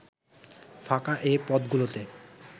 ফাঁকা এ পদগুলোতে